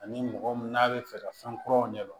Ani mɔgɔ mun n'a bɛ fɛ ka fɛn kuraw ɲɛdɔn